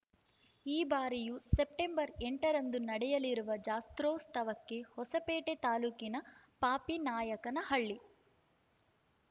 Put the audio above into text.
ಈ ಬಾರಿಯೂ ಸೆಪ್ಟೆಂಬರ್ ಎಂಟರಂದು ನಡೆಯಲಿರುವ ಜಾತ್ರೋತ್ಸವಕ್ಕೆ ಹೊಸಪೇಟೆ ತಾಲೂಕಿನ ಪಾಪಿನಾಯಕನಹಳ್ಳಿ